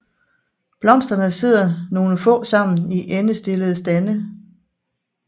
Blomsterne sidder nogle få sammen i endestillede stande